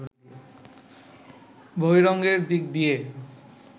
বহিরঙ্গের দিক দিয়ে